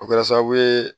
O kɛra sababu ye